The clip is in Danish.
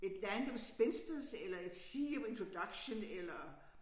Et land of spinsters eller et sea of introduction eller